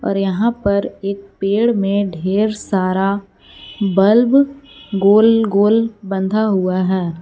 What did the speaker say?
और यहां पर एक पेड़ में ढेर सारा बल्ब गोल गोल बंधा हुआ है।